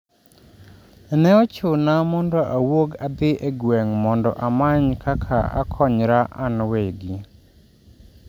" ne ochuna mondo awuog adhi e gweng' mondo amany kaka akonyra an wegi,"